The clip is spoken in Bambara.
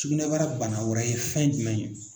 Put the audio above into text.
Sugunɛbara bana wɛrɛ ye fɛn jumɛn ye